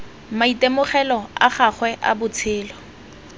maitemogelo a gagwe a botshelo